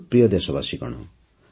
ମୋର ପ୍ରିୟ ଦେଶବାସୀଗଣ